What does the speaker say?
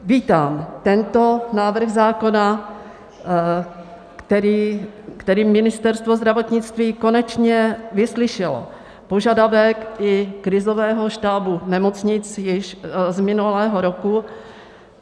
Vítám tento návrh zákona, který Ministerstvo zdravotnictví konečně vyslyšelo, požadavek i krizového štábu nemocnic již z minulého roku.